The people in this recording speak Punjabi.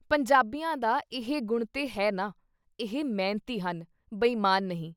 ਪੰਜਾਬੀਆਂ ਦਾ ਇਹ ਗੁਣ ਤੇ ਹੈ ਨਾ-ਇਹ ਮਿਹਨਤੀ ਹਨ, ਬੇਈਮਾਨ ਨਹੀਂ।